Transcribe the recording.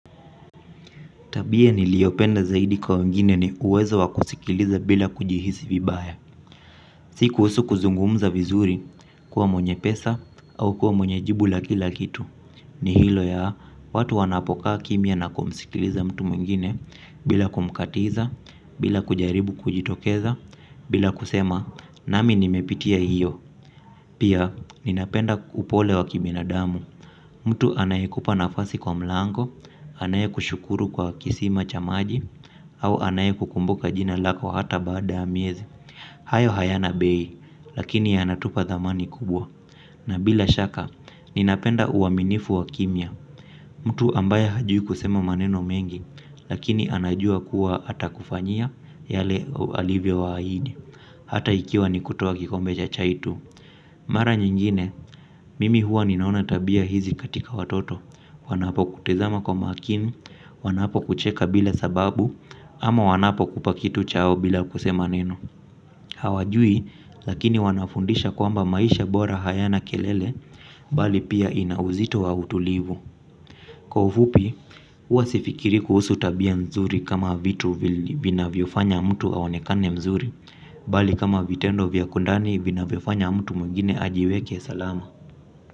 Tabia ni liopenda zaidi kwa wengine ni uwezo wakusikiliza bila kujihisi vibaya. Si kuhusu kuzungumza vizuri kuwa mwenye pesa au kuwa mwenye jibu la kila kitu. Ni hilo ya watu wanapokaa kimya na kumsikiliza mtu mwingine bila kumkatiza, bila kujaribu kujitokeza, bila kusema nami nimepitia hiyo. Pia, ninapenda upole wakibinadamu. Mtu anayekupa nafasi kwa mlango anayekushukuru kwa kisima cha maji au anayekukumbuka jina lako hata baada ya miezi hayo hayana bei lakini yanatupa dhamani kubwa na bila shaka, ninapenda uaminifu wakimya. Mtu ambaye hajui kusema maneno mengi lakini anajua kuwa hata kufanyia yale alivyo wa ahidi. Hata ikiwa nikutoa kikombe cha chai tu mara nyingine, mimi huwa ninaona tabia hizi katika watoto, wanapo kutezama kwa makini, wanapo kucheka bila sababu, ama wanapo kupa kitu chao bila kusema neno. Hawajui, lakini wanafundisha kwamba maisha bora hayana kelele, bali pia ina uzito wa utulivu. Kwa ufupi huwa sifikiri kuhusu tabia nzuri kama vitu vinavyofanya mtu aonekane vizuri bali kama vitendo vya kwandani vinavyofanya mtu mwingine ajiweke salama.